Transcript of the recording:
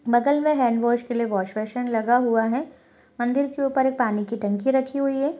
बगल में hand wash के लिए वॉश बेसिन लगा हुआ है मंदिर के ऊपर एक पानी की टंकी रखी हुई है।